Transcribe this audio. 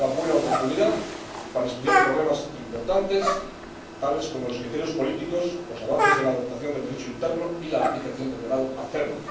será una buena oportunidad para estudiar problemas importantes, tales como los criterios políticos, los avances en la adaptación del Derecho interno y la aplicación del acervo.